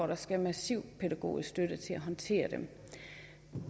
der skal massiv pædagogisk støtte til at håndtere